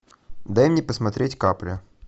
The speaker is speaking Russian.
дай мне посмотреть капля